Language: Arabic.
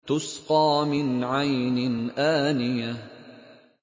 تُسْقَىٰ مِنْ عَيْنٍ آنِيَةٍ